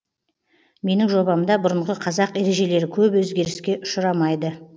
менің жобамда бұрынғы қазақ ережелері көп өзгеріске ұшырамайды